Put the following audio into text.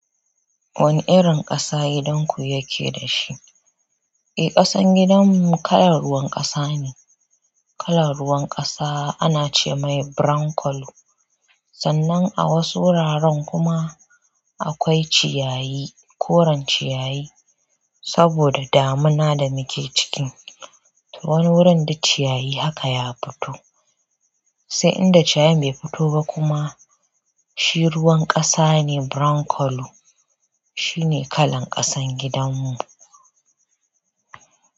Wani irin ƙasa gidanku yake dashi? Kasan gidan mu cala ruwan kasa ne kalan ruwan ƙasa ana ce mai brown colour. Sannan a wasu wuraren kuma akwai ciyayi, koren ciyayi. Saboda damina da muke ciki, to wani wurin duk ciyayi haka ya fito. Sai inda ciyayin bai fito ba kuma, shi ruwan ƙasa ne brown colour. Shi ne kalan ƙasan gidanmu.